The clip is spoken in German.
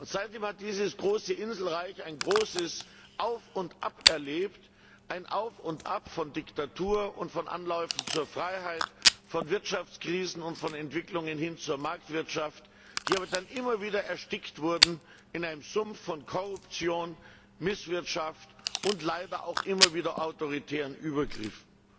Seitdem hat dieses große Inselreich ein großes Auf und Ab erlebt, ein Auf und Ab von Diktatur und von Anläufen zur Freiheit, von Wirtschaftskrisen und von Entwicklungen hin zur Marktwirtschaft, die dann aber immer wieder erstickt wurden in einem Sumpf von Korruption, Misswirtschaft und leider auch immer autoritären Übergriffen.